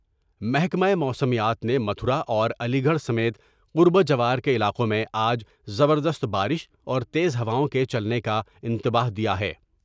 محکمہ موسمیات نے متھرا اور علی گڑھ سمیت قرب و جوار کے علاقوں میں آج زبردست بارش اور تیز ہواؤں کے چلنے کا انتباہ دیا ہے ۔